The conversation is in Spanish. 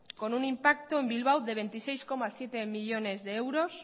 con un impacto en bilbao de veintiséis coma siete millónes de euros